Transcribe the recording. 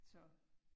Så